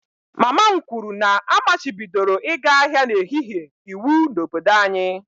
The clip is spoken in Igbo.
Mama m kwuru na a machibidoro ịga ahịa n'ehihie iwu n'obodo anyị